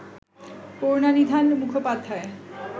Karunanidhan Mukhopadhyay